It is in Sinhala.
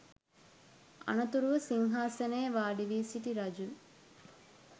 අනතුරුව සිංහාසනයේ වාඩිවී සිටි රජු